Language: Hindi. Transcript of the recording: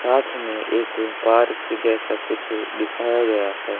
साथ ही में एक पार्क जैसा कुछ दिखाया गया है।